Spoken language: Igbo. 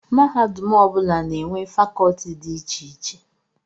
Mahadum ọ bụla na-enwe fakọlti dị iche iche